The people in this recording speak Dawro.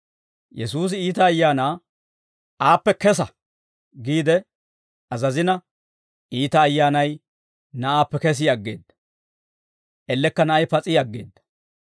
Yesuusi iita ayaana, «Aappe kesa» giide azazina, iita ayyaanay na'aappe kesi aggeedda; ellekka na'ay pas'i aggeedda.